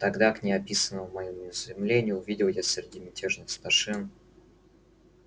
тогда к неописанному моему изумлению увидел я среди мятежных старшин